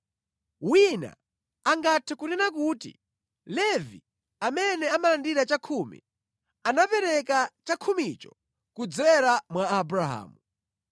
Wina angathe kunena kuti Levi, amene amalandira chakhumi, anapereka chakhumicho kudzera mwa Abrahamu,